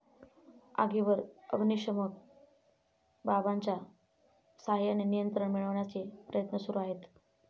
आगीवर अग्नीशमन बंबाच्या सहाय्याने नियंत्रण मिळविण्याचे प्रयत्न सुरु आहेत.